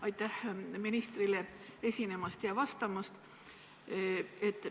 Aitäh ministrile esinemast ja vastamast!